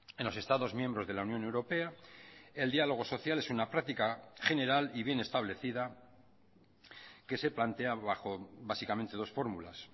en los estados miembros de la unión europea el diálogo social es una práctica general y bien establecida que se plantea bajo básicamente dos fórmulas